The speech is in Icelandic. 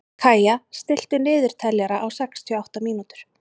Kaía, stilltu niðurteljara á sextíu og átta mínútur.